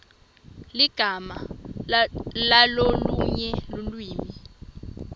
ligama lalolunye lulwimi